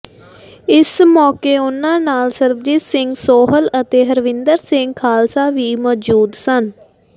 ਇਸ ਮੌਕੇ ਉਨ੍ਹਾਂ ਨਾਲ ਸਰਬਜੀਤ ਸਿੰਘ ਸੋਹਲ ਅਤੇ ਹਰਵਿੰਦਰ ਸਿੰਘ ਖ਼ਾਲਸਾ ਵੀ ਮੌਜੂਦ ਸਨ